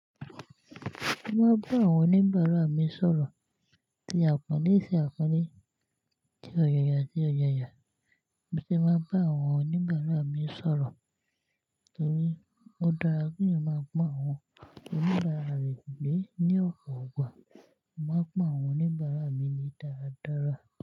Mo máa bá àwọn oníbàárà mi sọ̀rọ̀ tí àpọ́nle ṣe àpọ́nle tí ọ̀yàyà ṣe ọ̀yàyà. Mo sì máa bá àwọn oníbàárà mi sọ̀rọ̀ nítorí ó dára kí èèyàn máa pọ̀n àwọn oníbàárà reẹ lé ní ọpọ̀ igbà. Mo máa pọ̀n àwọn oníbàárà mi le dáradára.